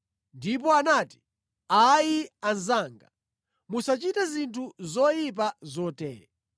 ndipo anati, “Ayi anzanga, musachite zinthu zoyipa zotere.